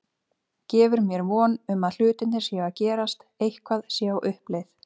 Gefur mér von um að hlutirnir séu að gerast, eitthvað sé á uppleið.